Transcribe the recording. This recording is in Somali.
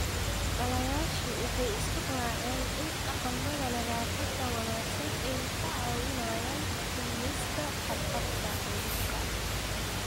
Dhallayaashu waxay isku raaceen in dhaqamada nadaafadda wanaagsan ay kaa caawinayaan dhimista khatarta cudurka.